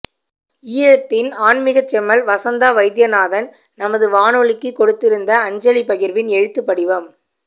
ஈழத்தின் ஆன்மீகச் செம்மல் வசந்தா வைத்திய நாதன் நமது வானொலிக்குக் கொடுத்திருந்த அஞ்சலிப் பகிர்வின் எழுத்து வடிவம்